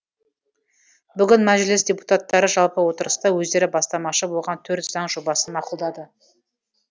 бүгін мәжіліс депутаттары жалпы отырыста өздері бастамашы болған төрт заң жобасын мақұлдады